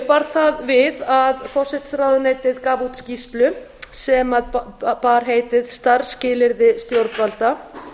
bar það við að forsætisráðuneytið gaf út skýrslu sem bar heitið starfsskilyrði stjórnvalda